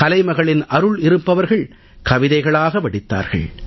கலைமகளின் அருள் இருப்பவர்கள் கவிதைகளாக வடித்தார்கள்